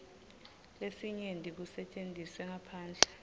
lesinyenti kusetjentiswe ngaphandle